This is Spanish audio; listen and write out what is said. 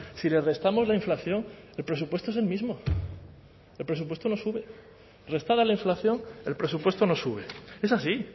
si le restamos la inflación el presupuesto es el mismo el presupuesto no sube restada la inflación el presupuesto no sube es así